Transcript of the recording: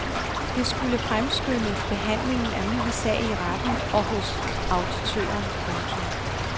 Det skulle fremskynde behandlingen af min sag i retten og hos auditøren. punktum